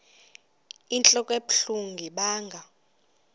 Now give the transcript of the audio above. inentlok ebuhlungu ibanga